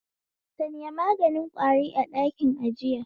Sanya maganin kwari a ɗakin ajiya